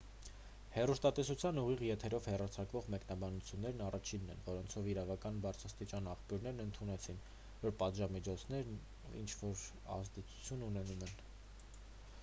հեռուստատեսության ուղիղ եթերով հեռարձակվող մեկնաբանություններն առաջինն էին որոնցով իրանական բարձրաստիճան աղբյուրներն ընդունեցին որ պատժամիջոցներն ինչ-որ ազդեցություն ունենում են